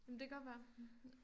Jamen det kan godt være